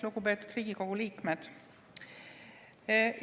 Lugupeetud Riigikogu liikmed!